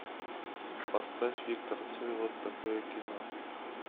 поставь виктора цоя вот такое кино